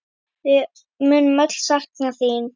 Við munum öll sakna þín.